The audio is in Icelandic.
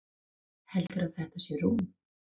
Heldurðu að þetta sé rúm?